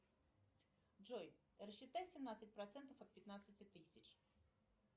джой рассчитай семнадцать процентов от пятнадцати тысяч